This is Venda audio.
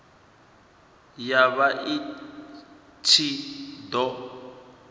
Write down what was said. ya vha i ṱshi ḓo